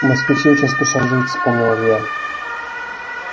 москвичи очень спешат жить вспомнил илья